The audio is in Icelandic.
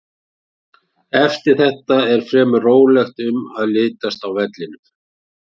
Eftir þetta er fremur rólegt um að litast á vellinum.